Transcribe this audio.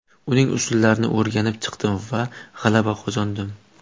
Uning usullarini o‘rganib chiqdim va g‘alaba qozondim.